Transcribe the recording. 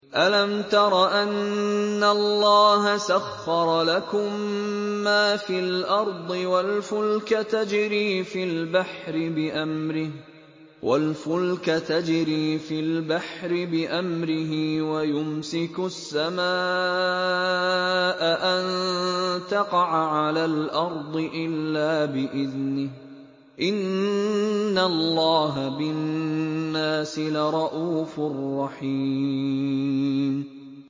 أَلَمْ تَرَ أَنَّ اللَّهَ سَخَّرَ لَكُم مَّا فِي الْأَرْضِ وَالْفُلْكَ تَجْرِي فِي الْبَحْرِ بِأَمْرِهِ وَيُمْسِكُ السَّمَاءَ أَن تَقَعَ عَلَى الْأَرْضِ إِلَّا بِإِذْنِهِ ۗ إِنَّ اللَّهَ بِالنَّاسِ لَرَءُوفٌ رَّحِيمٌ